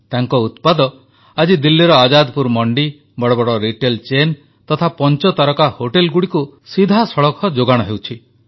ତାଙ୍କ ଉତ୍ପାଦ ଆଜି ଦିଲ୍ଲୀର ଆଜାଦପୁର ମଣ୍ଡି ବଡ଼ବଡ଼ ବ୍ୟବସାୟ ଚେନ ତଥା ପଞ୍ଚତାରକା ହୋଟେଲଗୁଡ଼ିକୁ ସିଧାସଳଖ ଯୋଗାଣ ହେଉଛି